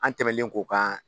An tɛmɛlen k'o kan